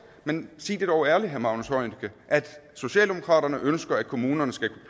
men sig det dog ærligt herre magnus heunicke at socialdemokratiet ønsker at kommunerne skal